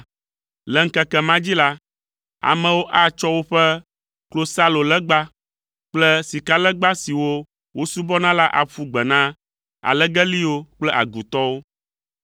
Le ŋkeke ma dzi la, amewo atsɔ woƒe klosalolegba kple sikalegba siwo wosubɔna la aƒu gbe na alegeliwo kple agutɔwo.